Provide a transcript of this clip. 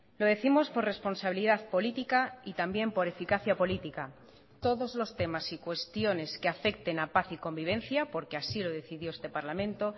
lo décimos por responsabilidad política y también por eficacia política todos los temas y cuestiones que afecten a paz y convivencia porque así lo decidió este parlamento